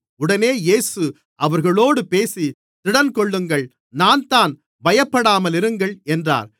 உடனே இயேசு அவர்களோடு பேசி திடன்கொள்ளுங்கள் நான்தான் பயப்படாமலிருங்கள் என்றார்